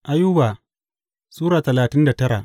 Ayuba Sura talatin da tara